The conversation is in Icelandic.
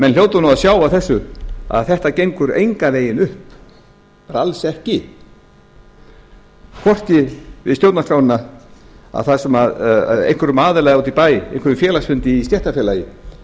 menn hljóta nú að sjá af þessu að þetta gengur engan veginn upp bara alls ekki hvorki við stjóranrskrána þar sem einhverjum aðila úti í bæ einhverjum félagsfundi í stéttarfélagi